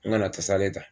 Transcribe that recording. N nana kasa de ta